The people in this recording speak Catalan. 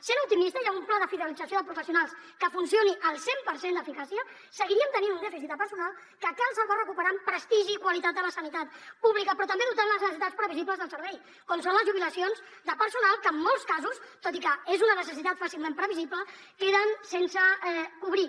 sent optimista i amb un pla de fidelització de professionals que funcioni al cent per cent d’eficàcia seguiríem tenint un dèficit de personal que cal salvar recuperant prestigi i qualitat a la sanitat pública però també dotant les necessitats previsibles del servei com són les jubilacions de personal que en molts casos tot i que és una necessitat fàcilment previsible queden sense cobrir